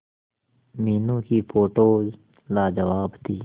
मीनू की फोटोज लाजवाब थी